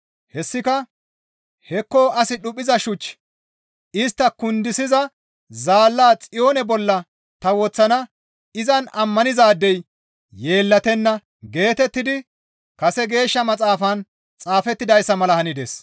Hessika, «Hekko as dhuphiza shuch istta kundisiza zaalla Xiyoone bolla ta woththana; izan ammanizaadey yeellatenna» geetettidi kase Geeshsha Maxaafan xaafettidayssa mala hanides.